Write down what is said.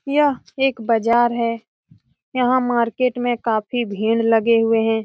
यह एक बाजार है। यहाँ मार्केट में काफी भीड़ लगे हुए है।